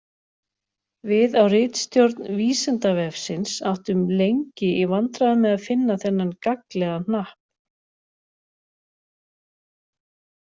Við á ritstjórn Vísindavefsins áttum lengi í vandræðum með að finna þennan gagnlega hnapp.